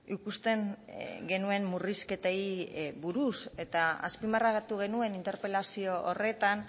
ikusten genuen murrizketei buruz eta azpimarratu genuen interpelazio horretan